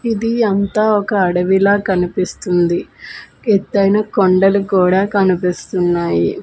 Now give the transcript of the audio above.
ఇది అంతా ఒక అడవి లా కనిపిస్తుంది ఎత్తైన కొండలు కూడా కనిపిస్తున్నాయి.